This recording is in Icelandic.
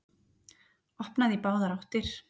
Opnað í báðar áttir